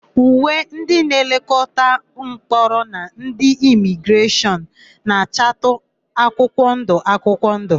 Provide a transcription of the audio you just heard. Uwe ndị nlekọta ụlọmkpọrọ na ndị imigreshọn na-achatụ akwụkwọndụ akwụkwọndụ.